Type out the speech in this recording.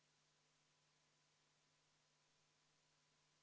Ehk siis tunnetati selle rolli julgeolekumaailmas relva omamist riigilõivudega väga koormata.